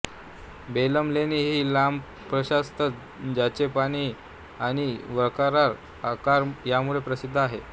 बेलम लेणी ही लांब प्रशस्त ताजे पाणी आणि वक्राकार आकार यामुळे प्रसिद्ध आहेत